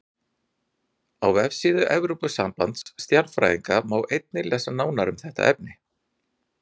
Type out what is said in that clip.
Á vefsíðu Alþjóðasambands stjarnfræðinga má einnig lesa nánar um þetta efni.